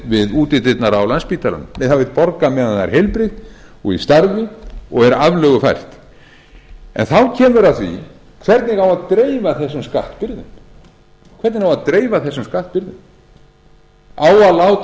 við útidyrnar á landspítalanum nei það vill borga meðan það er heilbrigt og í starfi og er aflögufært þá kemur að því hvernig á að dreifa þessum skattbyrðum á að láta